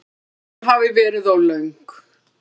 Baráttan hafi verið of löng.